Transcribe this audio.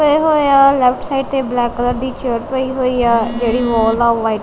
ਪਏ ਹੋਏ ਆ ਲੈਫਟ ਸਾਈਡ ਤੇ ਬਲੈਕ ਕਲਰ ਦੀ ਚੇਅਰ ਪਈ ਹੋਈ ਐ ਜਿਹੜੀ ਵਾਲ ਨਾਲ ਲਾਈ --